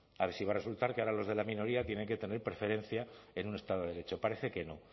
a ver si va a resultar que ahora los de la minoría tienen que tener preferencia en un estado de derecho parece que no